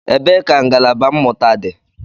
Ebee ka ngalaba mmụta dị?